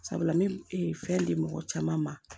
Sabula n bɛ fɛn di mɔgɔ caman ma